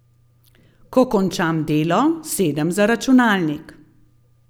Ko končam delo, sedem za računalnik.